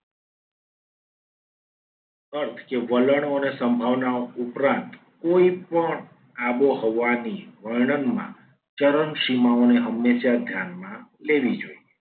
અર્થ કે વલણોને સંભાવનાઓ ઉપરાંત કોઈપણ આબોહવાની વર્ણનમાં ચરણ સીમાઓને હંમેશા ધ્યાનમાં લેવી જોઈએ.